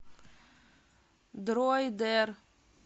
дроидер